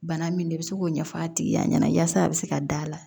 Bana min de bɛ se k'o ɲɛfɔ a tigiya ɲɛna yasa a bɛ se ka d'a la